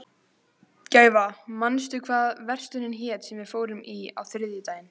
Gæfa, manstu hvað verslunin hét sem við fórum í á þriðjudaginn?